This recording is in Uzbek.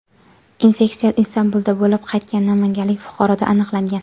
Infeksiya Istanbulda bo‘lib qaytgan namanganlik fuqaroda aniqlangan.